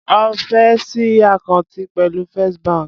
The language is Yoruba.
Ó fé ṣí àkáǹtì pẹ̀lú First bank.